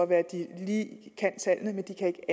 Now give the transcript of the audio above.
være at de lige kan tallene men de kan ikke